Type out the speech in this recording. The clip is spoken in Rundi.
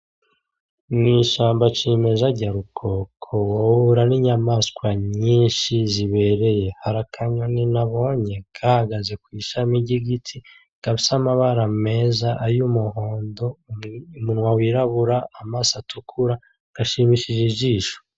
Mw’ishamba cimeza rya rukoko ,uhura ni nyamaswa nyinshi zibereye. Hari akanyoni nabonye gahagaze kw’ishami ry’igiti gafise amabara meza ay’umuhondo , umunwa wirabura, amaso atukura gashimishije ijisho.